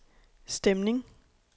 stemning